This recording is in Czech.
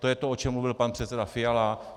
To je to, o čem mluvil pan předseda Fiala.